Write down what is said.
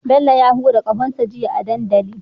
Bello ya hura ƙahon sa jiya a dandali